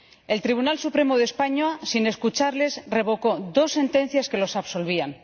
El Tribunal Supremo de España, sin escucharles, revocó dos sentencias que los absolvían.